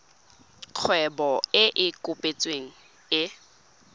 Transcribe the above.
kgwebo e e kopetsweng e